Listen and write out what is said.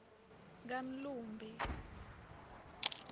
kamlumbi